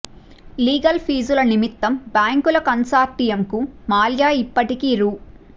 legal ఫీజుల నిమిత్తం బ్యాంకుల కన్సార్టి యంకు మాల్యా ఇప్పటికి రూ